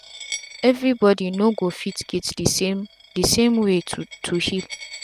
everi bodi no go fit get d same d same way to to heal